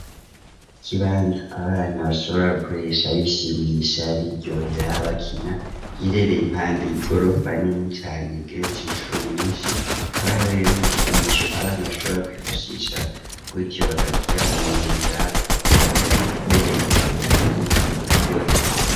Ikibanza ,abana bashobora gukoresha bishimisha biryohera, bakina giherereye impanda y'igorofa nini cane ,igetse inshuro nyinshi ,kabahare ibikinisho abana bashobora kwifashisha ,gutyo bakarya umunyenga bakaberemba hejuru hama bakaryohego.